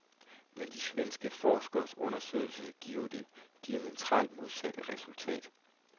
Men de svenske forskeres undersøgelser giver det diametralt modsatte resultat.